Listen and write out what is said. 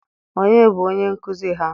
onye bụ onye nkuzi ha?